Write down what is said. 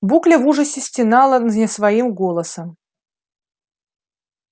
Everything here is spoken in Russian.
букля в ужасе стенала не своим голосом